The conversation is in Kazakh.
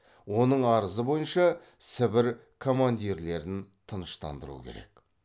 оның арызы бойынша сібір командирлерін тыныштандыру керек